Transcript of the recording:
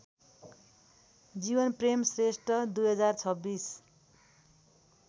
Jeevanprem Shrestha २०२६